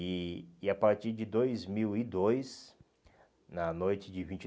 E e a partir de dois mil e dois, na noite de vinte